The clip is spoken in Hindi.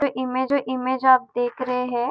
इमेज है इमेज आप देख रहे हैं।